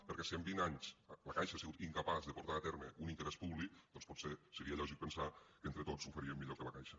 perquè si en vint anys la caixa ha sigut incapaç de portar a terme un interès públic doncs potser seria lògic pensar que entre tots ho faríem millor que la caixa